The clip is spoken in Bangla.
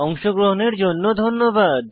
অংশগ্রহণের জন্য ধন্যবাদ